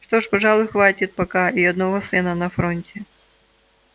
что ж пожалуй хватит пока и одного сына на фронте